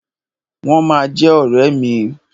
Wọ́n ma jẹ́ ọ̀rẹ́ mi.